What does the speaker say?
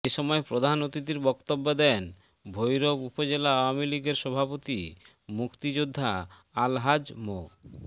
এ সময় প্রধান অতিথির বক্তব্য দেন ভৈরব উপজেলা আওয়ামী লীগের সভাপতি মুক্তিযোদ্ধা আলহাজ মো